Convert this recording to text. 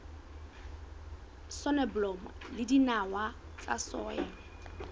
soneblomo le dinawa tsa soya